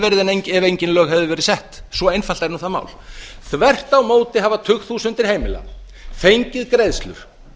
ef engin lög hefðu verið sett svo einfalt er nú það mál þvert á móti hafa tugþúsundir heimila fengið greiðslur